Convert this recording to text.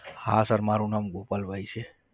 હા sir મારું નામ ગોપાલભાઈ છે.